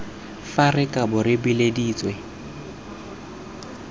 fa re kabo re bileditswe